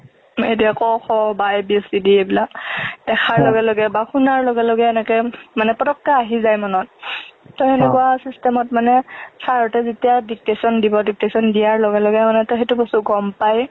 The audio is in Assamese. এতিয়া ক খ বা a b c d এইবিলাক দেখাৰ লগে লগে বা শুনাৰ লগে লগে এনেকে মানে পতককে আহি যাই মনত, ত সেনেকুৱা system অত মানে sir হতে যেতিয়া dictation দিব, dictation দিয়াৰ লগে লগে সেইটো বস্তু গম পাই।